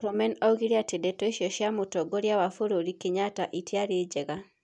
Murkomen oigire atĩ ndeto icio cia Mũtongoria wa bũrũri Kenyatta ĩtiarĩ njega.